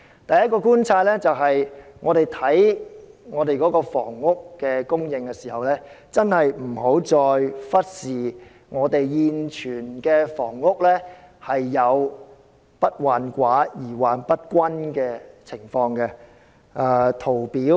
第一，我們審視香港的房屋供應時，確實不應再忽視現存的房屋存在"不患寡而患不均"的情況。